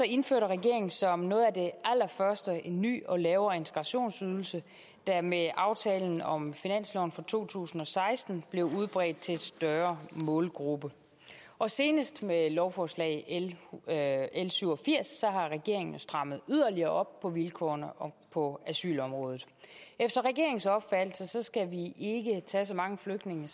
indførte regeringen som noget af det allerførste en ny og lavere integrationsydelse der med aftalen om finansloven for to tusind og seksten blev udbredt til en større målgruppe og senest med lovforslag l syv og firs har regeringen jo strammet yderligere op på vilkårene på asylområdet efter regeringens opfattelse skal vi ikke tage så mange flygtninge